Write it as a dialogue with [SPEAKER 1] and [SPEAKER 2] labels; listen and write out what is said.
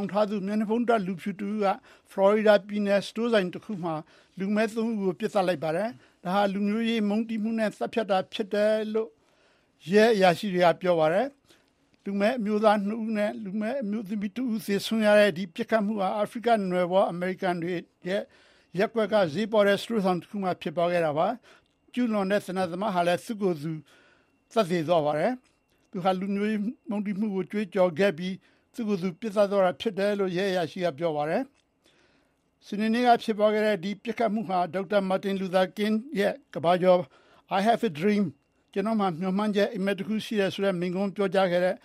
[SPEAKER 1] င်ထားတဲ့ မျက်နှာဖုံးတပ်လူဖြူတဦးက ဖလော်ရီဒါပြည်နယ် စတိုးဆိုင်တဆိုင်မှာ လူမည်းသုံးဦးကို ပစ်သတ်လိုက်ပါတယ်။ ဒါဟာ လူမျိုးရေးမုန်းတီးမှုနဲ့သတ်ဖြတ်တယ်ဆိုတာ ရှင်းနေတာပဲ" လို့ ရဲအရာရှိတွေက ပြောပါတယ်။ လူမည်းအမျိုးသားနှစ်ဦးနဲ့ အမျိုးသမီးတဦးသေဆုံးခဲ့ရတဲ့ ဒီပစ်ခတ်မှုဟာ အာဖရိကနွယ်ဖွား အမေရိကန်တွေရဲ့ ရပ်ကွက်က ဈေးပေါတဲ့ စတိုးဆိုင်တခုမှာဖြစ်သွားခဲ့တာပါ။ ကျူးလွန်ခဲ့တဲ့ သေနတ်သမားဟာ သူ့ရဲ့သေနတ်မှာ နာဇီအမှတ်တံဆိပ်ကို ဆေးခြယ်ထားတဲ့အပြင် လူမျိုးရေးမုန်းတီးမှုကိုကြွေးကြော်ပြီး သူ့ကိုယ်သူပစ်သတ်သွားပါတယ်။ လူမည်းတွေကို မုန်းတီးသူဖြစ်တယ်လို့ ဂျပ်ဆင်ဗေးလ် မြို့ ရဲအရာရှိ T.K Waters က ဆိုပါတယ်။ စနေနေ့ကဖြစ်ခဲ့တဲ့ ဒီပစ်ခတ်မှုဟာ ဒေါက်တာမာတင်လူသာကင်းရဲ့ ကမ္ဘာကျော် "I hava a Dream" "ကျနော့်မှာ မျှော်မှန်းချက် အိပ်မက်တခုရှိတယ်" ဆိုတဲ့မိန့်ခွန်း ဟောပြောခဲ့တဲ့